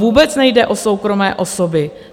Vůbec nejde o soukromé osoby.